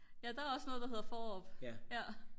ja der er også noget der hedder Fårup ja